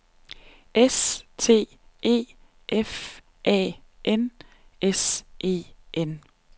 S T E F A N S E N